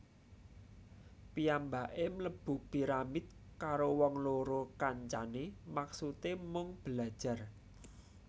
Piyambaké mlebu piramid karo wong loro kancané maksudé mung belajar